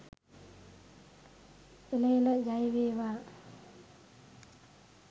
එල එල ජය වේවා